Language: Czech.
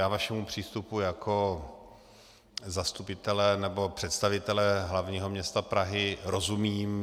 Já vašemu přístupu jako zastupitele nebo představitele hlavního města Prahy rozumím.